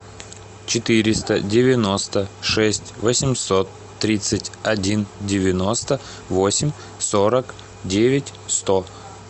четыреста девяносто шесть восемьсот тридцать один девяносто восемь сорок девять сто